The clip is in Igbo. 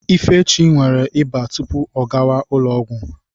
Ifechi nwere ịba tupu ọ gawa ụlọ ọgwụ.